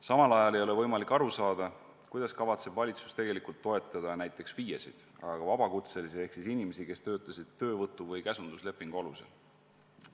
Samal ajal ei ole võimalik aru saada, kuidas kavatseb valitsus toetada näiteks FIE-sid ja vabakutselisi ehk neid inimesi, kes on töötanud töövõtu- või käsunduslepingu alusel.